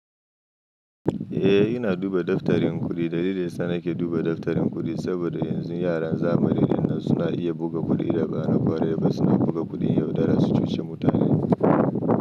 Eh, ina duba daftarin kuɗi. Dalilin sa nake duba daftarin kuɗi, saboda yanzu yaran zamani din nan suna iya buga kuɗi da ba na ƙwarai ba. Suna buga kuɗin yaudara su cuci mutanen.